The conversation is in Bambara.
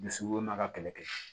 Dusukolo ma ka kɛlɛ kɛ